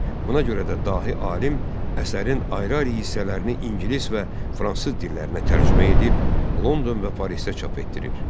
Buna görə də dahi alim əsərin ayrı-ayrı hissələrini ingilis və fransız dillərinə tərcümə edib London və Parisdə çap etdirir.